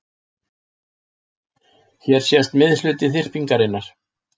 Hér sést miðhluti þyrpingarinnar.